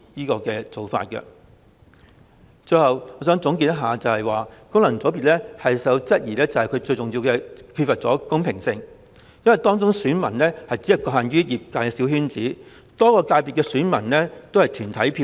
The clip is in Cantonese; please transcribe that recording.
最後，我想總結，功能界別備受質疑，主要原因是缺乏公平性，因為其選民基礎只局限於業界小圈子，而且很多界別只有團體票。